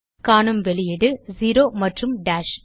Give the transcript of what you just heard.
காணும் வெளியீடு செரோ மற்றும் டாஷ்